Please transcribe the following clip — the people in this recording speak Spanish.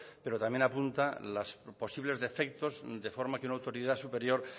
pero también apunte los posibles defectos de forma que una autoridad superior